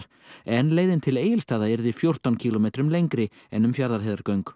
en leiðin til Egilsstaða yrði fjórtán kílómetrum lengri en um Fjarðarheiðargöng